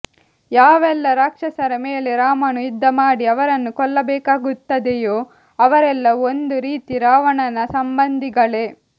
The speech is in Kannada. ಯಾವೆಲ್ಲ ರಾಕ್ಷಸರ ಮೇಲೆ ರಾಮನು ಯುದ್ಧಮಾಡಿ ಅವರನ್ನು ಕೊಲ್ಲಬೇಕಾಗುತ್ತದೆಯೊ ಅವರೆಲ್ಲ ಒಂದು ರೀತಿ ರಾವಣನ ಸಂಬಂಧಿಗಳೇ